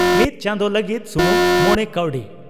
ᱢᱤᱛ ᱪᱟᱸᱫᱚ ᱞᱟᱹᱜᱤ ᱥᱩᱢᱩᱝ ᱢᱚᱲᱮ ᱠᱟᱣᱰᱤ